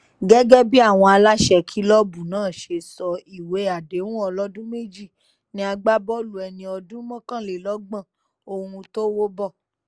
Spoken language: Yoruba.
gẹ́gẹ́ bí àwọn aláṣẹ kìlọ́ọ̀bù náà ṣe sọ ìwé àdéhùn ọlọ́dún méjì ní agbábọ́ọ̀lù ẹni ọdún mọ́kànlélọ́gbọ̀n ohun tówó bọ́